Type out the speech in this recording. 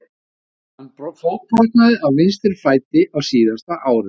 Hann fótbrotnaði á vinstri fæti á síðasta ári.